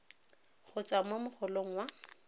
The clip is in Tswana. go tswa mo mogolong wa